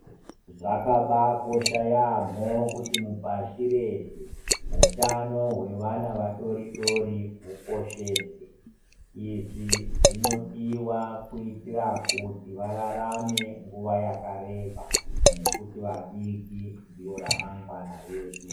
Zvaka baa kosha yaamho kuti mupashi reshe, utano wevana vadoodori ukosheswe, izvi zvinodiwa kuitira kuti vararame nguva yakareba nekuti vadiki ndivo ramangwana redu.